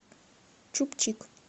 чуб чик